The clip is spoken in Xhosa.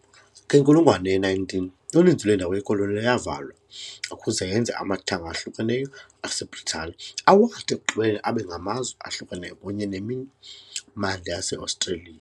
Ngenkulungwane ye-19, uninzi lwendawo yekoloni yavalwa ukuze yenze amathanga ahlukeneyo aseBritane awathi ekugqibeleni abe ngamazwe ahlukeneyo kunye nemimandla yaseOstreliya.